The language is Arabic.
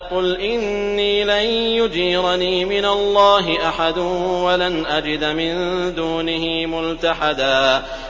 قُلْ إِنِّي لَن يُجِيرَنِي مِنَ اللَّهِ أَحَدٌ وَلَنْ أَجِدَ مِن دُونِهِ مُلْتَحَدًا